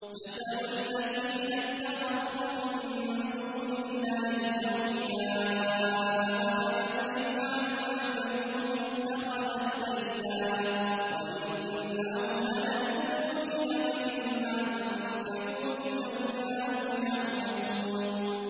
مَثَلُ الَّذِينَ اتَّخَذُوا مِن دُونِ اللَّهِ أَوْلِيَاءَ كَمَثَلِ الْعَنكَبُوتِ اتَّخَذَتْ بَيْتًا ۖ وَإِنَّ أَوْهَنَ الْبُيُوتِ لَبَيْتُ الْعَنكَبُوتِ ۖ لَوْ كَانُوا يَعْلَمُونَ